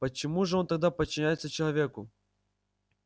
почему же он тогда подчиняется человеку